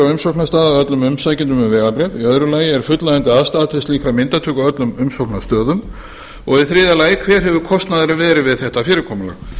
á umsóknarstað af öllum umsækjendum um vegabréf annars er fullnægjandi aðstaða til slíkrar myndatöku á öllum umsóknarstöðum þriðji hver hefur kostnaðurinn verið við þetta fyrirkomulag